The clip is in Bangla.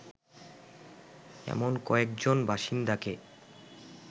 এমন কয়েকজন বাসিন্দাকে